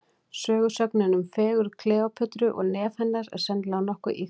Sögusögnin um fegurð Kleópötru og nef hennar, er sennilega nokkuð ýkt.